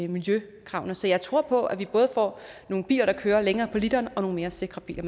miljøkravene så jeg tror på at vi både får nogle biler der kører længere på literen og nogle mere sikre biler